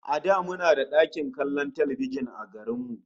A da muna da ɗakin kallon talbijin a garin mu